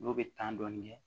N'o bɛ dɔɔnin kɛ